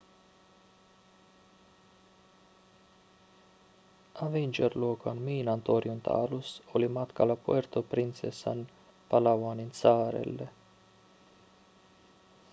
avenger-luokan miinantorjunta-alus oli matkalla puerto princesaan palawanin saarelle